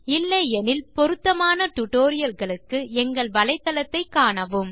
இல்லை எனில் பொருத்தமான டியூட்டோரியல்ஸ் களுக்கு எங்கள் வலைத்தளத்தை காணவும்